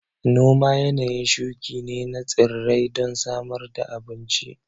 Noma yanayin shuƙi ne na tsirrai don samar da abun ci